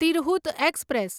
Tirhut express